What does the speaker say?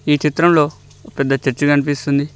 ఈ చిత్రంలో ఒక పెద్ద చర్చి కనిపిస్తుంది